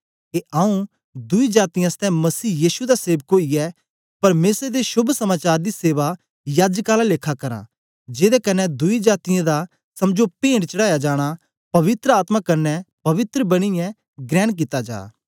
के आऊँ दुई जातीयें आसतै मसीह यीशु दा सेवक ओईयै परमेसर दे शोभ समाचार दी सेवा याजक आला लेखा करां जेदे कन्ने दुई जातीयें दा समझो पेंट चढ़ाया जाना पवित्र आत्मा कन्ने पवित्र बनियें ग्रेण कित्ता जा